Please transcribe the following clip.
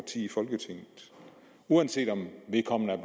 i folketinget uanset om vedkommende er